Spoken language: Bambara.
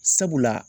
Sabula